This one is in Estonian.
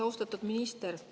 Austatud minister!